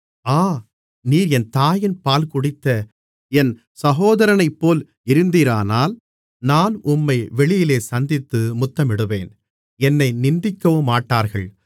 ஆ நீர் என் தாயின் பால்குடித்த என் சகோதரனைப்போல் இருந்தீரானால் நான் உம்மை வெளியிலே சந்தித்து முத்தமிடுவேன் என்னை நிந்திக்கவுமாட்டார்கள்